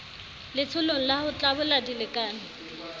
letsholong la ho tlabola dilekane